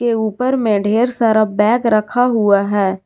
के ऊपर में ढेर सारा बैग रखा हुआ है।